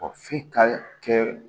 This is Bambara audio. f'i ka kɛ